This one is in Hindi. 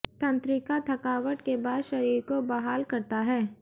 तंत्रिका थकावट के बाद शरीर को बहाल करता है